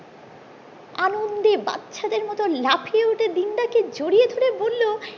আনন্দে বাচ্চাদের মতন লাফিয়ে উঠে দিনু দা কে জড়িয়ে ধরে বলো